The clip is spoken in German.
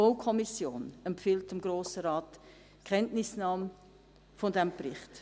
Auch die BaK empfiehlt dem Grossen Rat die Kenntnisnahme des Berichts.